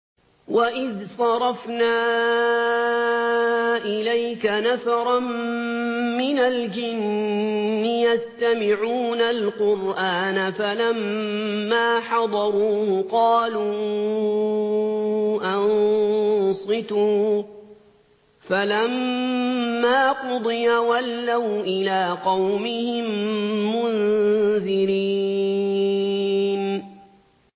وَإِذْ صَرَفْنَا إِلَيْكَ نَفَرًا مِّنَ الْجِنِّ يَسْتَمِعُونَ الْقُرْآنَ فَلَمَّا حَضَرُوهُ قَالُوا أَنصِتُوا ۖ فَلَمَّا قُضِيَ وَلَّوْا إِلَىٰ قَوْمِهِم مُّنذِرِينَ